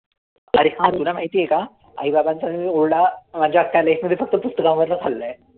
अरे तुला माहितीये का? आई-बाबांचा मी ना ओरडा, माझ्या अख्या life मध्ये फक्त पुस्तकांवरनं खाल्लाय.